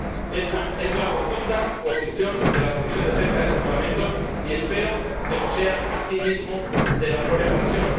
Esa es la rotunda posición de la Comisión de Pesca de este Parlamento, y espero que lo sea, asimismo, de la propia Comisión.